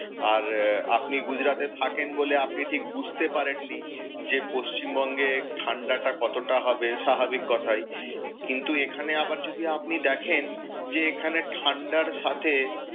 আর আপনি গুজরাতে থাকেন বলে আপনি ঠিক বুঝতে পারেননি, যে পশ্চিমবঙ্গে ঠাণ্ডাটা কতটা হবে, স্বাভাবিক কথাই। কিন্তু এখানে যদি আবার দেখেন যে ঠাণ্ডার সাথে,